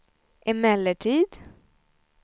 emellertid